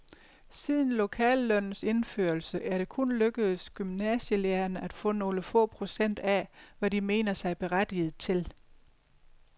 Siden lokallønnens indførelse er det kun lykkedes gymnasielærerne at få nogle få procent af, hvad de mener sig berettiget til.